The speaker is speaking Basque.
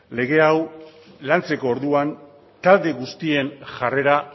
lege hau lantzeko orduan talde guztien jarrera